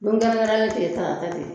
Te ye tarata de ye